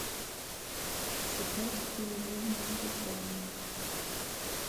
сыграть в приложение сбербанк